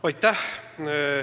Aitäh!